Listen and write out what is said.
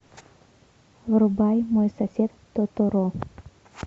врубай мой сосед тоторо